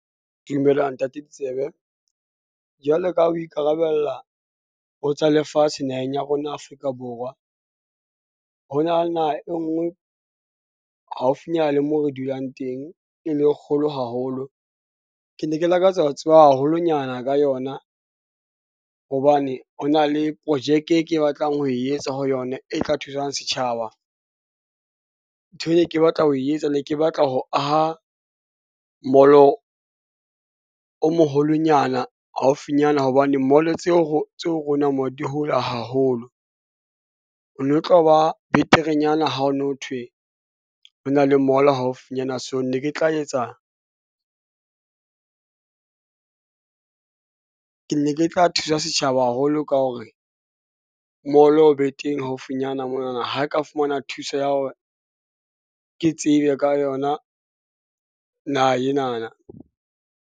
Dumela ntate Ditsebe jwalo ka ha o ikarabella ho tsa lefatshe naheng ya rona Afrika Borwa. Ho na le naha e nngwe haufinyana le mo re dulang teng e le kgolo haholo. Ke ne ke lakatsa ho tseba haholonyana ka yona hobane ho na le projeke e ke batlang ho e etsa ho yona e tla thusang setjhaba. Nthwe ne ke batla ho e etsa. Ne ke batla ho aha mall-o, o moholonyana haufinyana hobane mall-o tseo ho tse ho rona mo di hole haholo. Ho no tlo ba beterenyana ha o no thwe ho na le mall-o haufinyana. So, ne ke tla etsa , ke ne ke tla thusa setjhaba haholo ka hore mall-o o be teng haufinyana mona na ha ka fumana thuso ya hore ke tsebe ka yona naha ena na.